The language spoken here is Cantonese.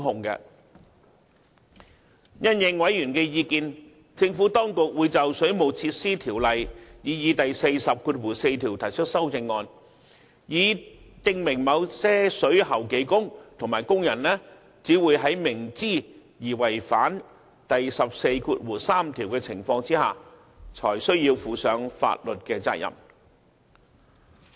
因應委員的意見，政府當局會就《水務設施條例》擬議第144條提出修正案，以訂明某些水喉技工和工人只會在明知而違反第143條的情況下，才須負上法律責任。